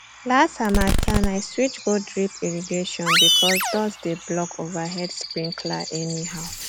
last harmattan i switch go drip irrigation because dust dey block overhead sprinkler anyhow